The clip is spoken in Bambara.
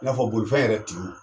I n'a fɔ bolifɛn yɛrɛ tigiw